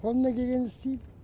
қолымнан келгенін істейм